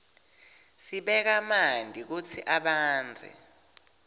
sibeka manti kutsi abandze